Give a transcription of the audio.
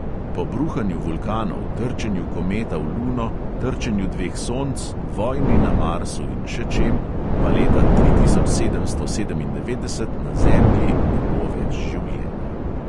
Po bruhanju vulkanov, trčenju kometa v luno, trčenju dveh sonc, vojni na marsu in še čem pa leta tri tisoč sedemsto sedemindevetdeset na zemlji ne bo več življenja.